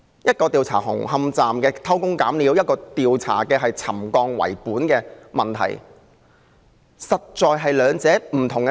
前者調查紅磡站有否偷工減料，後者調查沉降及監管的問題，實在是兩件不同的事。